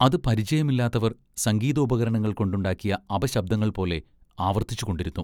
അത് പരിചയമില്ലാത്തവർ സംഗീതോപകരണങ്ങൾ കൊണ്ടുണ്ടാക്കിയ അപശബ്ദങ്ങൾപോലെ ആവർത്തിച്ചുകൊണ്ടിരുന്നു.